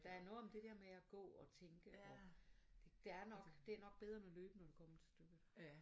Der er noget om det dér med at gå og tænke og der er nok det nok bedre med løb når det kommer til stykket